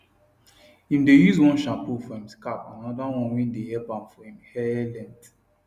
im dae use one shampoo for him scalp and another one wae dae help am for im hair length